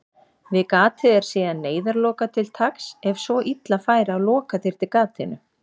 Við gatið er síðan neyðarloka til taks ef svo illa færi að loka þyrfti gatinu.